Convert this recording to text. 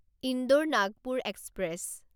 Indore Nagpur express